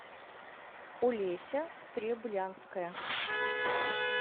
олеся стреблянская